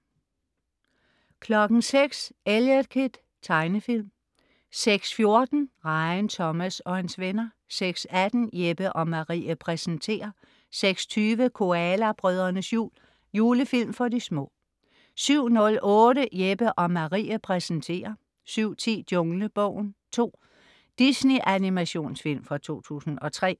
06.00 Eliot Kid. Tegnefilm 06.14 Rejen Thomas og hans venner 06.18 Jeppe & Marie præsenterer 06.20 Koala brødrenes jul. julefilm for de små 07.08 Jeppe & Marie præsenterer 07.10 Junglebogen 2. Disney-animationsfilm fra 2003